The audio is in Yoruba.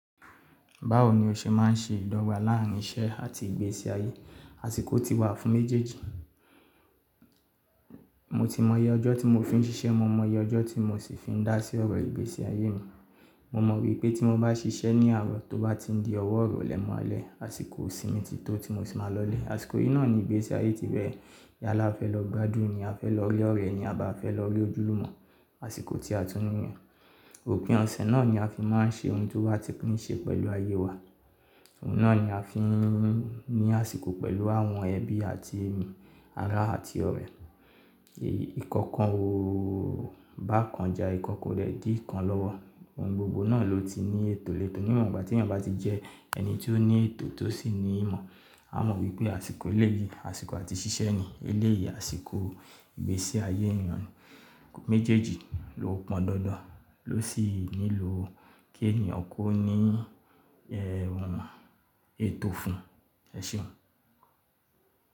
Báwo ni o ṣe máa ń ṣe ìdọ́gba láàrín iṣẹ́ àti ìgbésí ayé àsìkò tí wà fún méjèèjì? Mo ti mọ iye ọjọ́ tí mo fi ń ṣiṣẹ́, mo mọ iye ọjọ́ tí mo sì fi ń dá sí ọ̀rọ̀ ìgbésí ayé mi. Mo mọ wípé tí mo bá ṣiṣẹ́ ní àárọ̀ tó bá ti di ọwọ́ ọ̀rọ̀ lè mọ́lẹ̀, àsìkò ìsinmi ti tó tí mo sì máa lọlé. Àsìkò yìí náà ni ìgbésí ayé ti bẹ̀rẹ̀. Yalá a fẹ́ lọ gbádùn ni, a fẹ́ lọ rí ọ̀rẹ́ ni, a bá fẹ́ lọ rí ojúlùmọ̀ àsìkò tí a tún ní nìyẹn. Òpin ọ̀sẹ̀ náà ni a fi máa ń ṣe ohun tó bá ti ní ṣe pẹ̀lú ayé wa. Òun náà ni a fi ń ní àsìkò pẹ̀lú àwọn ẹbí àti ará àti ọ̀rẹ́. Ìkankan o bá kan ja, ìkankan rẹ̀ di ìkan lọ́wọ́. Ohun gbogbo náà ló ti ní ètò lẹ́tò ni ìwọ̀n, bá tí ẹni bá ti jẹ́ ẹni tó ní ètò tó sì ní ìmọ̀, a mọ wípé àsìkò eléyìí, àsìkò àti ṣíṣe ni eléyìí, àsìkò ìgbésí ayé ènìyàn méjèèjì ló pọn dandan, ló sì nílò kí ènìyàn kó ní ẹ́hun ètò fún ẹṣeun.